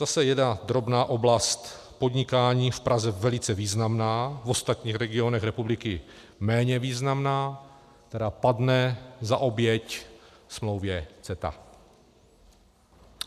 Zase jedna drobná oblast podnikání, v Praze velice významná, v ostatních regionech republiky méně významná, která padne za oběť smlouvě CETA.